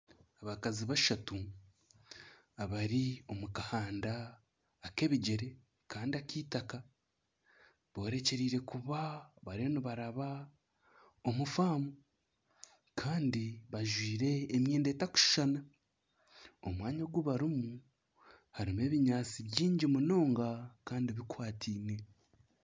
Abakazi bashatu bari omu kahanda ak'ebigyere Kandi akitaka borekyereire kuba nibaraba omu faamu Kandi bajwaire emyenda etarikushushana omu mwanya ogu barimu harimu ebinyaatsi bingi munonga Kandi bikwataine